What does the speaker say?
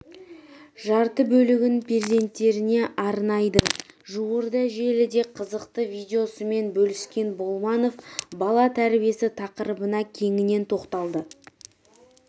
жарты бөлігін перзенттеріне арнайды жуырда желіде қызықты видеосымен бөліскен болманов бала тәрбиесі тақырыбына кеңінен тоқталды